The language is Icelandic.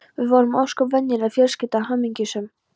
Við vorum ósköp venjuleg fjölskylda, hamingjusöm.